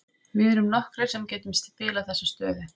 Við erum nokkrir sem getum spilað þessa stöðu.